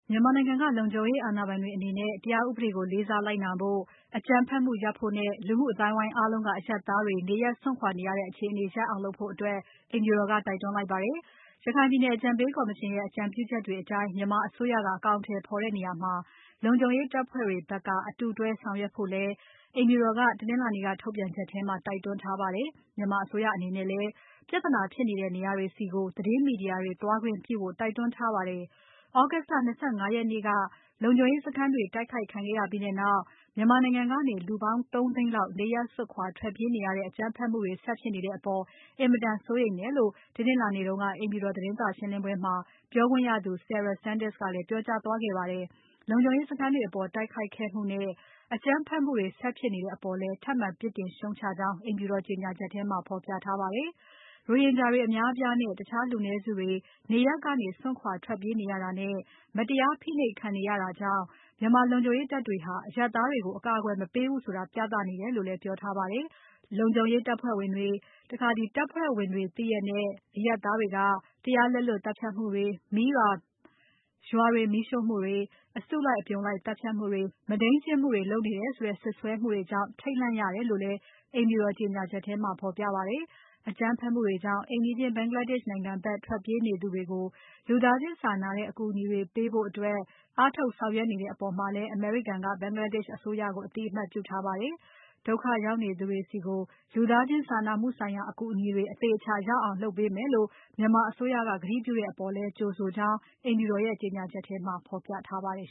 မြန်မာနိုင်ငံက လုံခြုံရေးအာဏာပိုင်တွေအနေနဲ့ တရားဥပဒေကို လေးစားလိုက်နာဖို့၊ အကြမ်းဖက်မှု ရပ်ဖို့နဲ့ လူမှုအသိုင်းအဝိုင်းအားလုံးက အရပ်သားတွေ နေရပ်စွန့်ခွာနေရတဲ့ အခြေအနေရပ်အောင်လုပ်ဖို့ အိမ်ဖြူတော်က တိုက်တွန်းလိုက်ပါတယ်။ ရခိုင်ပြည်နယ်အကြံပေးကော်မရှင်ရဲ့ အကြံပြုချက်တွေ အတိုင်း မြန်မာအစိုးရက အကောင်အထည်ဖော်တဲ့နေရာမှာ လုံခြုံရေးတပ်ဖွဲ့တွေဖက်က အတူတွဲဆောင်ရွက်ဖို့လည်း အိမ်ဖြူတော်က တနင်္လာနေ့က ထုတ်ပြန်ချက်ထဲမှာ တိုက်တွန်းထားပါတယ်။ မြန်မာအစိုးရအနေနဲ့လည်း ပြဿနာဖြစ်နေတဲ့ နေရာတွေဆီ သတင်းမီဒီယာတွေသွားခွင့်ပြုဖို့ တိုက်တွန်းထားပါတယ်။ August လ ၂၅ ရက်နေ့က လုံခြုံရေးစခန်းတွေတိုက်ခိုက်ခံခဲ့ရပြီးနောက် မြန်မာနိုင်ငံကနေ လူပေါင်း ၃ သိန်းလောက် နေရပ်စွန့်ထွက်ပြေးနေရတဲ့ အကြမ်းဖက်မှုတွေ ဆက်ဖြစ်နေတဲ့အပေါ် အင်မတန် စိုးရိမ်တယ်လို့ တနင်္လာနေ့က အိမ်ဖြူတော် သတင်းစာရှင်းပွဲမှာ ပြောခွင့်ရသူ Sarah Sanders ကလည်း ပြောကြားသွားခဲ့ပါတယ်။ လုံခြုံရေးစခန်းတွေအပေါ် တိုက်ခိုက်ခဲ့မှုနဲ့ အကြမ်းဖက်မှုတွေ ဆက်ဖြစ်နေတဲ့အပေါ်လည်း ထပ်မံ ပြစ်တင် ရှုတ်ချကြောင်း အိမ်ဖြူတော်ကြေညာချက်ထဲမှာ ဖော်ပြထားပါတယ်။ ရိုဟင်ဂျာတွေအများအပြားနဲ့ တခြားလူနည်းစုတွေ နေရပ်ကနေစွန့်ခွာထွက်ပြေးနေရတာနဲ့ မတရားဖိနှိပ်ခံနေရတာကြောင့် မြန်မာလုံခြုံရေးတပ်တွေဟာ အရပ်သားတွေကို အကာအကွယ်မပေးဘူးဆိုပြသနေတယ်လို့လည်း ပြောထားပါတယ်။ လုံခြုံရေးတပ်ဖွဲ့ဝင်တွေ၊ တပ်ဖွဲ့ဝင်တွေ သိရက်နဲ့ အရပ်သားတွေက တရားလက်လွတ်သတ်ဖြတ်မှုတွေ၊ ရွာတွေမီးရှို့မှုတွေ၊ အစုလိုက်အပြုံလိုက် သတ်ဖြတ်မှုတွေ၊ မုဒိမ်းကျင့်မှုတွေ လုပ်နေတယ်ဆိုတဲ့ စွပ်စွဲမှုတွေကြောင့် ထိတ်လန့်ရတယ်လို့လည်း အိမ်ဖြူတော်ကြေညာချက်ထဲမှာ ဖော်ပြပါတယ်။ အကြမ်းဖက်မှုတွေကြောင့် အိမ်နီးချင်း Bangladesh နိုင်ငံဖက် ထွက်ပြေးသူတွေကို လူသားချင်းစာနာတဲ့ အကူအညီတွေပေးနိုင်ဖို့ အားထုတ်ဆောင်ရွက်နေတဲ့အပေါ်လည်း အမေရိကန်က Bangladesh အစိုးရကို အသိအမှတ်ပြုထားပါတယ်။ ဒုက္ခရောက်နေသူတွေဆီ လူသားချင်းစာနာမှုဆိုင်ရာ အကူအညီတွေ သေအချာ ရောက်အောင်လုပ်ပေးမယ်လို့ မြန်မာအစိုးရကတိပြုထားတဲ့အပေါ် ကြိုဆိုကြောင်းလည်း အိမ်ဖြူတော်ရဲ့ ကြေညာချက်ထဲမှာ ဖော်ပြထားပါတယ်